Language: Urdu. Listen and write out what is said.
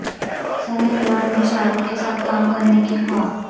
سنی لیون بھی شاہ رخ کے ساتھ کام کرنیکی خواہاں